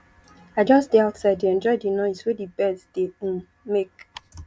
i just dey outside dey enjoy the noise wey the birds dey um make